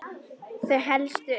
Þau helstu eru